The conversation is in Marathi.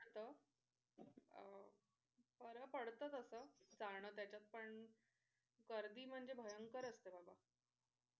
असत अह बर पडत तस जाणं त्याच्यात पण गर्दी म्हणजे भयंकर असते बाबा.